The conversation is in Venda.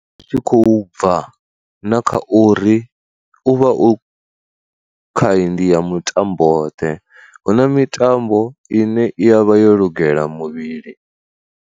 Zwi tshi khou bva na kha uri u vha u khaindi ya mutambo ḓe, hu na mitambo ine i yavha yo lugela muvhili.